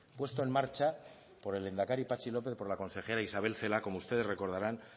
puesto en marcha por el lehendakari patxi lópez y por la consejera isabel celaá como ustedes recordarán